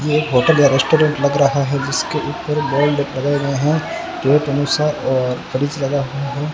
ये एक होटल या रेस्टोरेंट लग रहा है जिसके ऊपर हैं।